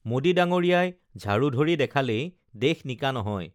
মোডী ডাঙৰীয়াই ঝাঢ়ু ধৰি দেখালেই দেশ নিকা নহয়